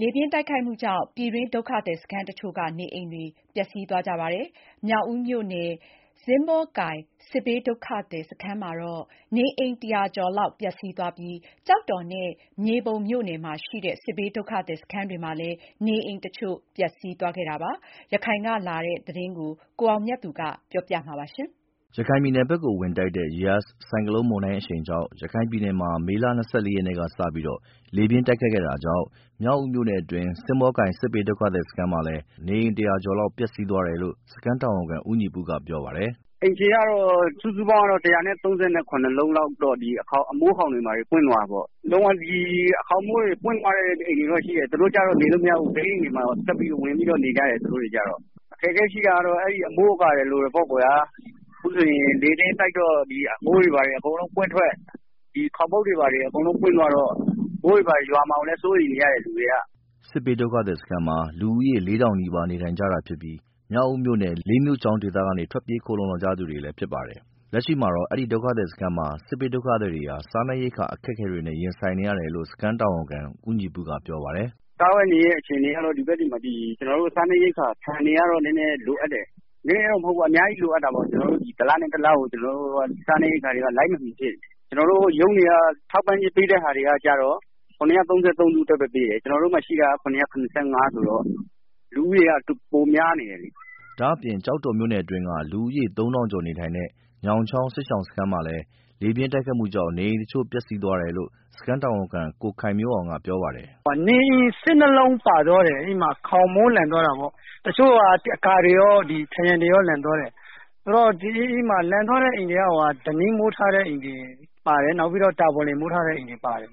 လေပြင်းတိုက်ခတ်မှုကြောင့် ပြည်တွင်းဒုက္ခသည်စခန်းတစ်ချို့က နေအိမ်တွေ ပျက်စီးသွားကြပါတယ်။ မြောက်ဦးမြို့နယ် စင်းဘောကိုင်း စစ်ဘေးဒုက္ခသည် စခန်းမှာတော့ နေအိမ်တစ်ရာကျော်လောက် ပျက်စီးသွားပြီး ကျောက်တော်နဲ့ မြေပုံမြို့နယ်မှာ ရှိတဲ့ စစ်ဘေးဒုက္ခသည်စခန်းတွေမှာလည်း နေအိမ်တစ်ချို့ ပျက်စီး သွားခဲ့တာပါ။ ရခိုင်ကလာတဲ့ သတင်းကို ကိုအောင်မြတ်သူက တင်ပြပေးပါမယ်။ အိန္ဒိယနိုင်ငံဖက်ကို ဝင်တိုက်တဲ့ Yaas ဆိုင်ကလုန်း မုန်တိုင်းအရှိန်ကြောင့် ရခိုင်ပြည်နယ်မှာ မေလ ၂၄ ရက် စတင်ပြီး လေပြင်းတိုက်ခတ်ခဲ့တာကြောင့် မြောက်ဦးမြို့နယ်အတွင်းက စင်းဘောကိုင်း စစ်ဘေးဒုက္ခသည်စခန်းမှာလည်း လေပြင်းတိုက်ခတ်မှူကြောင့် နေအိမ်တစ်ရာကျော်လောက် ပျက်စီးသွားတယ်လို့ စခန်းတာဝန်ခံ ဦးညီပုက ပြောပါတယ်။ “အိမ်ခြေကတော့ စုစုပေါင်းကတော့ ၁၃၇ လုံးလောက် ခေါက်းမိုးတွေပွင့်သွားတယ်။ လုံးဝ ခေါင်းမိုးတွေ ပွင့်သွားတဲ့ အိမ်တွေတော့ ရှိတယ်။ သူတို့ကတော့ နေလို့မရဘူး ဘေးအိမ်တွေမှာ ဝင်နေကြတယ်။ အခက်အခဲကတော့ အမိုးအကာတွေ လိုတာပေါ့ လေပြင်းတိုက်တော့ အမိုးတွေ အကုန်လုံးပွင့်ထွက် သွားတော့ မိုးရွာမှာကိုလည်း စိုးရိမ်နေကြတယ် လူတွေက” အဲဒီစင်းဘောကိုင်း စစ်ဘေးဒုက္ခသည်စခန်းမှာ လူဦးရေ လေးထောင်နီးပါးနေထိုင်ကြတာဖြစ်ပြီး မြောက်ဦးမြို့နယ် လေးမြို့ချောင်း ဒေသကနေ ထွက်ပြေးခိုလုံလာကြသူတွေ လည်းဖြစ်ပါတယ်။ လက်ရှိမှာတော့ အဲဒီစခန်းမှာရှိတဲ့ စစ်ဘေးဒုက္ခသည်တွေ စားနပ်ရိက္ခာ အခက်အခဲ တွေနဲ့ ရင်ဆိုင်နေရတယ်လို့ စခန်းတာဝန်ခံ ဦးညီပုက ပြောပါတယ်။ “စားဝတ်နေရေး အခြေအနေကတော့ ကျနော်တို့ ဆီမှာ ဆန်တွေကတော့ နည်းနည်း လိုအပ်တယ်။ နည်းနည်းမဟုတ်ဘူး အများကြီးလိုအပ်တယ်။ တစ်လနဲ့ တစ်လကို ကျနော် တို့က စားနပ်ရိက္ခာတွေက လိုက်မမှီဖြစ်နေတယ်။ ကျနော်တို့ ရုံးတွေက ထောက်ပံ့ ကျေးပေး တဲ့ ဟာတွေကျတော့ ၇၃၃ အိမ်အတွက်ပဲ ပေးတယ်။ ကျနော်တို့မှာ ရှိတာက ၇၇၅ ဆိုတော့ အိမ်ထောင်စုက ပိုများနေတယ်လေ။” ဒါအပြင့် ကျောက်တော်မြို့နယ်အတွင်းက လူဦးရေ သုံးထောင်ကျော်နေထိုင်တဲ့ ညောင်းချောင်းစစ်ရှောင်စခန်းမှာလည်း လေပြင်းတိုက်ခတ်မှူကြောင့် နေအိမ်တစ်ချို့ ပျက်စီးသွားတယ်လို့ စခန်းတာဝန်ခံ ကိုခိုင်မျိုးအောင်က ပြောပါတယ်။ “နေအိမ် ၁၂ လုံးပါသွားတယ် တစ်ချို့တွေကတော့ ခေါင်မိုးတွေကော အကာတွေကော အကုန်လုံးပါသွားတာပေါ့။ အိမ်သွားတဲ့ အိမ်တွေက ဓနိမိုးထားတဲ့ အိမ်တွေ ပါတယ်။ နောက်ပြီးတော့ တာပေါ်လိပ် မိုးထားတဲ့ အိမ်တွေပါတယ်။